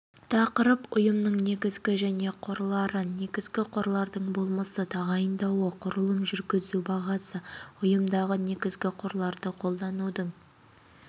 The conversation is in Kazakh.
тақырып ұйымның негізгі және қорлары негізгі қорлардың болмысы тағайындауы құрылым жүргізу бағасы ұйымдағы негізгі қорларды қолданудың